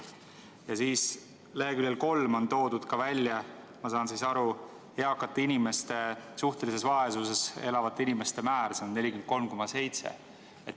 Ja siis leheküljel 3 on toodud, ma saan aru, eakate inimeste suhtelise vaesuse määr, see on 43,7.